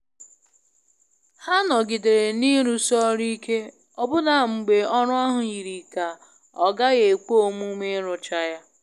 Ha nọgidere n'arụsi ọrụ ike ọbụna mgbe ọrụ ahụ yiri ka ọ gaghị ekwe omume ịrụcha ya.